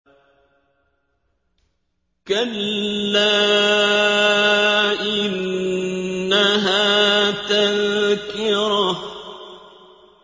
كَلَّا إِنَّهَا تَذْكِرَةٌ